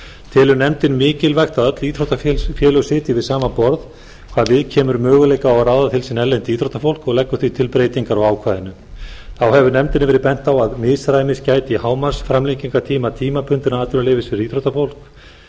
telur nefndin mikilvægt að öll íþróttafélög sitji við sama borð hvað við kemur möguleikum á að ráða til sín erlent íþróttafólk og leggur því til breytingar á ákvæðinu þá hefur nefndinni verið bent á að misræmis gæti á hámarksframlengingartíma tímabundins atvinnuleyfis fyrir íþróttafólk